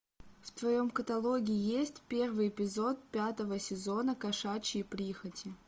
в твоем каталоге есть первый эпизод пятого сезона кошачьи прихоти